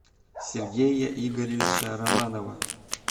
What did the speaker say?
сергея игоревича романова